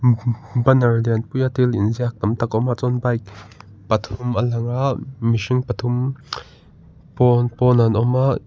banner lian pui a thil inziak tam tak a awm a chuan bike pathum a lang a mihring pathum pawn pawnah an awm a.